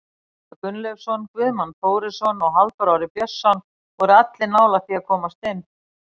Gunnleifur Gunnleifsson, Guðmann Þórisson og Halldór Orri Björnsson voru allir nálægt því að komast inn.